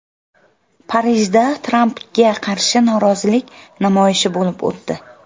Parijda Trampga qarshi norozilik namoyishi bo‘lib o‘tdi.